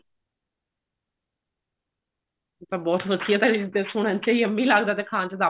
ਇਹ ਤਾਂ ਬਹੁਤ ਵਧੀਆ ਲੱਗਦਾ ਸੁਣਨ ਚ yummy ਲੱਗਦਾ ਤੇ ਖਾਣ ਚ ਤਾਂ